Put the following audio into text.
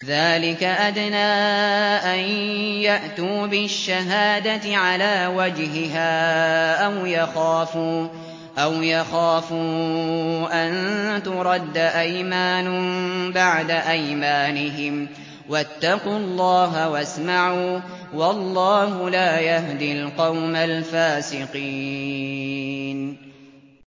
ذَٰلِكَ أَدْنَىٰ أَن يَأْتُوا بِالشَّهَادَةِ عَلَىٰ وَجْهِهَا أَوْ يَخَافُوا أَن تُرَدَّ أَيْمَانٌ بَعْدَ أَيْمَانِهِمْ ۗ وَاتَّقُوا اللَّهَ وَاسْمَعُوا ۗ وَاللَّهُ لَا يَهْدِي الْقَوْمَ الْفَاسِقِينَ